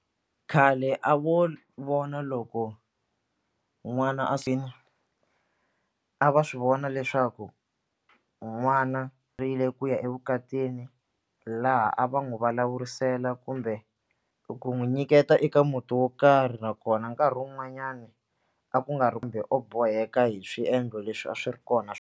Khale a vo vona loko n'wana a a va swi vona leswaku n'wana ri le ku ya evukatini laha a va n'wi vulavurisela kumbe ku n'wi nyiketa eka muti wo karhi nakona nkarhi wun'wanyani a ku nga ri kumbe o boheka hi swiendlo leswi a swi ri kona .